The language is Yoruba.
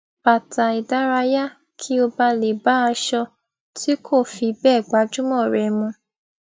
bàtà ìdárayá kí ó ba lè bá aṣọ tí kò fi bẹẹ gbajúmọ rẹ mu